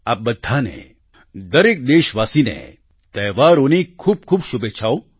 આપ બધાને દરેક દેશવાસીને તહેવારોની ખૂબખૂબ શુભેચ્છાઓ